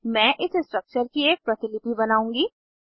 मैं इस स्ट्रक्चर की एक प्रतिलिपि बनाउंगी